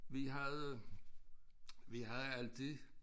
Vi havde øh vi havde altid